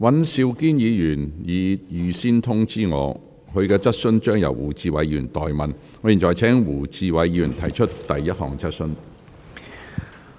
尹兆堅議員已預先通知我，其質詢會由胡志偉議員代為提出。